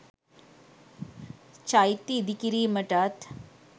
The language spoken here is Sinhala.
චෛත්‍ය ඉදිකිරීමටත්